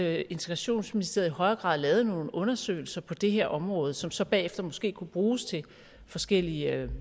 at integrationsministeriet i højere grad lavede nogle undersøgelser på det her område som så bagefter måske kunne bruges til forskellige